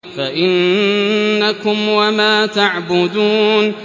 فَإِنَّكُمْ وَمَا تَعْبُدُونَ